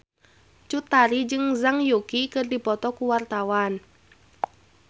Cut Tari jeung Zhang Yuqi keur dipoto ku wartawan